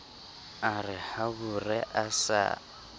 a re habore a sa